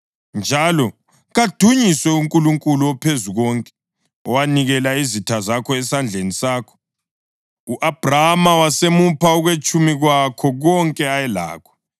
Njalo kadunyiswe uNkulunkulu oPhezukonke, owanikela izitha zakho esandleni sakho.” U-Abhrama wasemupha okwetshumi kwakho konke ayelakho.